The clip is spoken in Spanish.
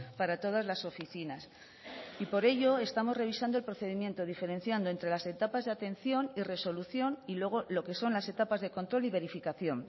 para todas las oficinas y por ello estamos revisando el procedimiento diferenciando entre las etapas de atención y resolución y luego lo que son las etapas de control y verificación